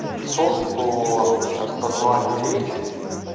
софт по распознаванию речи